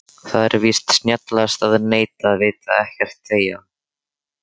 Það er víst snjallast að neita, vita ekkert, þegja.